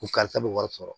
Ko karisa bɛ wari sɔrɔ